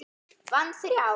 Vann þrjá.